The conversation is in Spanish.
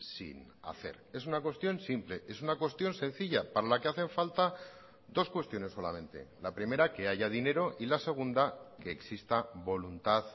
sin hacer es una cuestión simple es una cuestión sencilla para la que hacen falta dos cuestiones solamente la primera que haya dinero y la segunda que exista voluntad